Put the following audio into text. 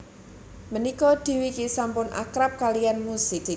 Mènika Dwiki sampun akrab kaliyann musik